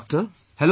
Hello doctor